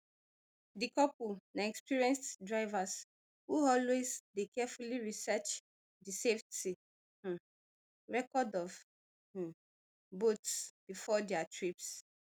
di couple na experienced divers who always dey carefully research di safety um record of um boats bifor dia trips